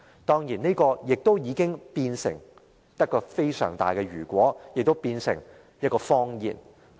當然，這早已變成很大的"如果"，也變成了一個謊言。